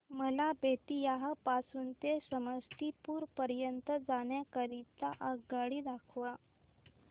मला बेत्तीयाह पासून ते समस्तीपुर पर्यंत जाण्या करीता आगगाडी दाखवा